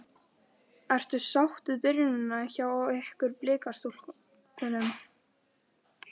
Ertu sátt við byrjunina hjá ykkur Blikastúlkum?